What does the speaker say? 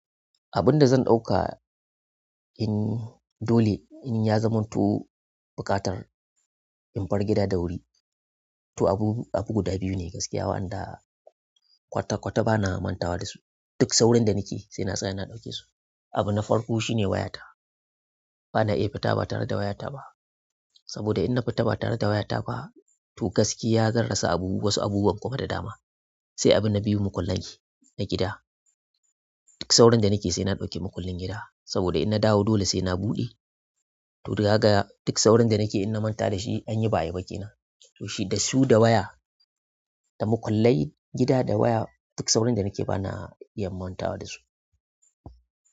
Abun da zan ɗauka in dole in ya zamanto buƙatar in bar gida da wuri. To abu, abu guda biyu ne gaskiya waɗanda kwata-kwata bana manta wa da su. Duk saurin da nake sai na tsaya na ɗauke su. Abu na farko shine wayata. Bana iya fita ba tare da wayata ba. Saboda in na fita ba tare da wayata ba to gaskiya zan rasa abubuwa wasu abubuwan kuma da dama. Sai abu na biyu mukullai na gida. Duk saurin da nake sai na ɗauki makullin gida. Saboda in na dawo dole sai na buɗe. To daga kaga duk saurin da nake in na manta da shi an yi ba'a yi ba ke nan. To shi da su da waya, da makullai gida da waya duk saurin da nake bana iya manta wa da su.